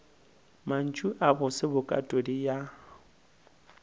mantšu a bose bokatodi ya